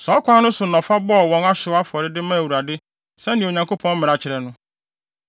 Saa ɔkwan no so na ɔfa bɔɔ wɔn ɔhyew afɔre de maa Awurade sɛnea Onyankopɔn mmara kyerɛ no.